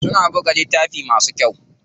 Suna buga littafi masu kyau.